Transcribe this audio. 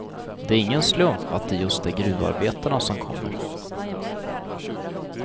Det är ingen slump att det just är gruvarbetarna som kommer.